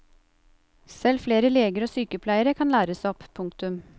Selv flere leger og sykepleiere kan læres opp. punktum